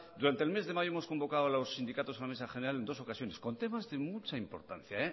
durante el mes de mayo hemos convocado a los sindicatos a la mesa general en dos ocasiones con temas de mucha importancia